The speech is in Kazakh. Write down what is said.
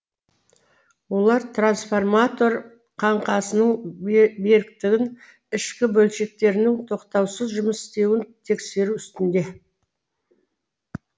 олар трансформатор қаңқасының беріктігі ішкі бөлшектерінің тоқтаусыз жұмыс істеуін тексеру үстінде